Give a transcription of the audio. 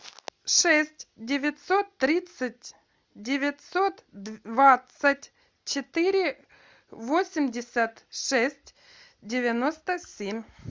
шесть девятьсот тридцать девятьсот двадцать четыре восемьдесят шесть девяносто семь